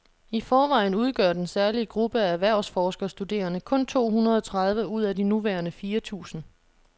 I forvejen udgør den særlige gruppe af erhvervsforskerstuderende kun to hundrede tredive ud af de nuværende fire tusind.